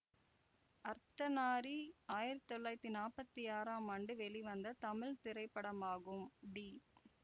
அர்த்தனாரி ஆயிரத்தி தொள்ளாயிரத்தி நாப்பத்தி ஆறாம் ஆண்டு வெளிவந்த தமிழ் திரைப்படமாகும் டி